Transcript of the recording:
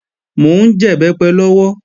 Mò ń jẹ̀bẹ́pẹ lọ́wọ́